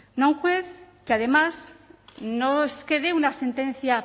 no a un juez que además no es que dé una sentencia